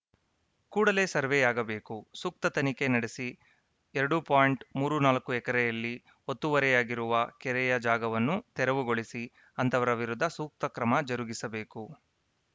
ಕೂಡಲೇ ಸರ್ವೇಯಾಗಬೇಕು ಸೂಕ್ತ ತನಿಖೆ ನಡೆಸಿ ಎರಡು ಪಾಯಿಂಟ್ ಮೂರು ನಾಲ್ಕುಎಕರೆಯಲ್ಲಿ ಒತ್ತುವರಿಯಾಗಿರುವ ಕೆರೆಯ ಜಾಗವನ್ನು ತೆರವುಗೊಳಿಸಿ ಅಂತಹವರ ವಿರುದ್ಧ ಸೂಕ್ತ ಕ್ರಮ ಜರುಗಿಸಬೇಕು